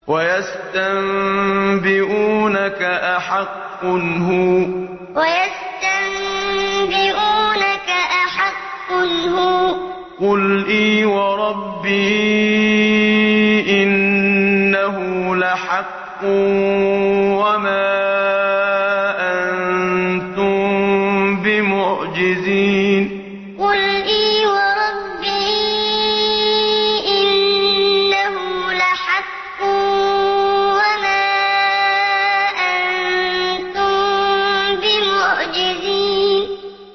۞ وَيَسْتَنبِئُونَكَ أَحَقٌّ هُوَ ۖ قُلْ إِي وَرَبِّي إِنَّهُ لَحَقٌّ ۖ وَمَا أَنتُم بِمُعْجِزِينَ ۞ وَيَسْتَنبِئُونَكَ أَحَقٌّ هُوَ ۖ قُلْ إِي وَرَبِّي إِنَّهُ لَحَقٌّ ۖ وَمَا أَنتُم بِمُعْجِزِينَ